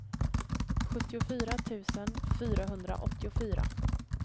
sjuttiofyra tusen fyrahundraåttiofyra